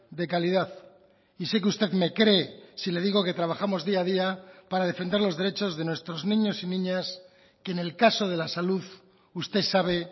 de calidad y sé que usted me cree si le digo que trabajamos día a día para defender los derechos de nuestros niños y niñas que en el caso de la salud usted sabe